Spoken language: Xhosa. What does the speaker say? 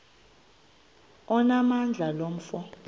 onamandla lo mfo